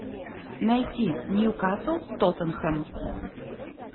найти ньюкасл тоттенхэм